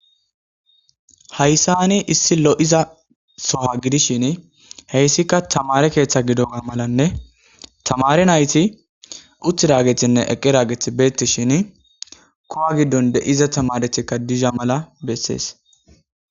hayssa ni issi lo7iza soha gidishin heyssikka tamare keeththa gidonga malanne tamare nayti utt raagethinne eqqi raagethi beetishin kowa giddon de7iza tamarethikka dizha mala bessees